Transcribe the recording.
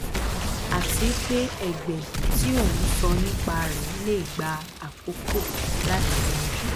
àti pé ẹgbẹ tí o ń sọ nípa rẹ lè gba àkókò láti yanjú